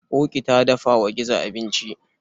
Ƙoƙi ta dafa wa gizo abinci.